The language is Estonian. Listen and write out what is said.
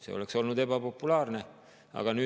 See oleks olnud ebapopulaarne.